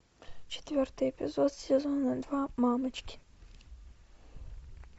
четвертый эпизод сезона два мамочки